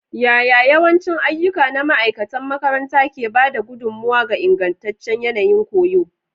Yaya yawancin ayyuka na ma'aikatan makaranta ke ba da gudummawa ga ingantaccen yanayin koyo?